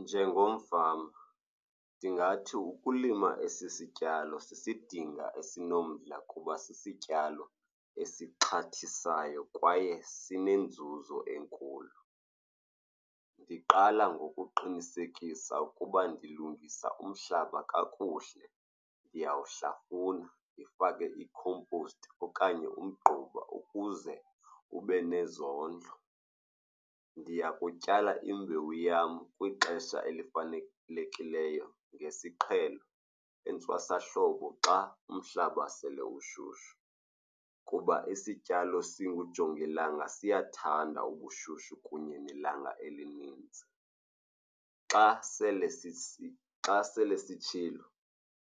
Njengomfama ndingathi ukulima esi sityalo sisidinga esinomdla kuba sisityalo esixhathisayo kwaye sinenzuzo enkulu. Ndiqala ngokuqinisekisa ukuba ndilungisa umhlaba kakuhle, ndiyawuhlafuna ndifake i-compost okanye umgquba ukuze ube nezondlo. Ndiya kukutyala imbewu yam kwixesha elifanelekileyo, ngesiqhelo entwasahlobo xa umhlaba sele ushushu, kuba isityalo singujongilanga siyathanda ubushushu kunye nelanga elininzi. Xa sele , xa sele sitshile